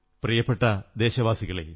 പ്രിയപ്പെട്ട ദേശവാസികളേ